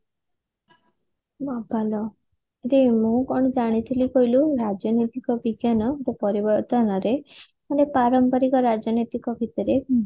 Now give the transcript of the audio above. ବାବଲୋ ଯେ ମୁଁ କଣ ଜାଣିଥିଲି କହିଲୁ ରାଜନୀତି ଏକ ବିଜ୍ଞାନ ଏକ ପରିବର୍ତନରେ ମାନେ ପାରମ୍ପରିକ ରାଜନୈତିକ ଭିତରେ